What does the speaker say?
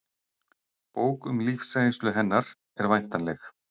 Bók um lífsreynslu hennar er væntanleg